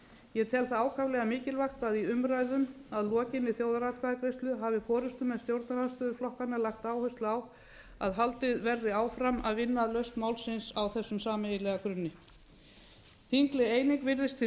ég tel það ákaflega mikilvægt að í umræðum að lokinni þjóðaratkvæðagreiðslu hafa forustumenn stjórnarandstöðuflokkanna lagt áherslu á að haldið verði áfram að vinna að lausn málsins á þessum sameiginlega grunni þingleg eining virðist því